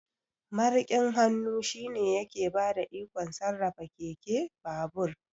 Mariƙin hannu shine yake bada ikon sarrafa keke, babur